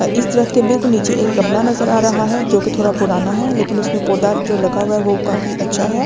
इस दरख्त के बिल्कुल नीचे एक गमला नजर आ रहा है जो कि थोड़ा पुराना है लेकिन उसमें पौधा जो लगा हुआ है वो काफी अच्छा है।